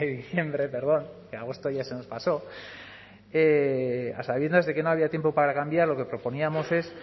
de diciembre perdón agosto ya se nos pasó a sabiendas de que no había tiempo para cambiar lo que proponíamos es